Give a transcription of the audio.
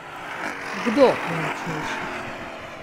Kdo je močnejši?